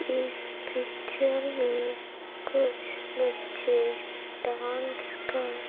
इस पिक्चर में कुछ बच्चे डांस कर--